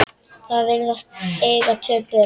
Þau virðast eiga tvö börn.